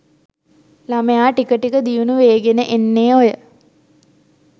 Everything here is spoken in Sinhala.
ළමයා ටික ටික දියුණු වේගෙන එන්නේ ඔය